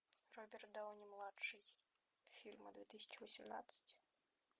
роберт дауни младший фильмы две тысячи восемнадцать